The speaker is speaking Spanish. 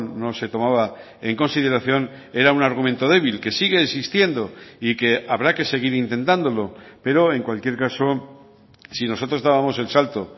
no se tomaba en consideración era un argumento débil que sigue existiendo y que habrá que seguir intentándolo pero en cualquier caso si nosotros dábamos el salto